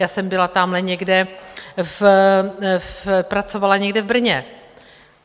Já jsem byla tamhle někde... pracovala někde v Brně.